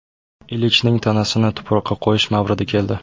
Ilichning tanasini tuproqqa qo‘yish mavridi keldi.